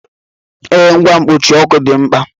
Ee, ngwa mkpuchi ọkụ dị mkpa